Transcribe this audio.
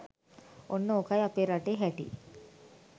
ඔන්න ඕ‍කයි අපේ රටේ හැටි